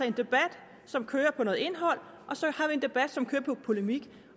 en debat som kører på noget indhold og så har vi en debat som kører på polemik